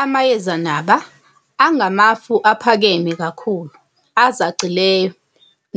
Amayezenaba, angamafu aphakeme kakhulu, azacileyo,